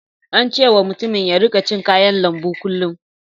An ce wa mutumin ya rika cin kayan lambu kullum.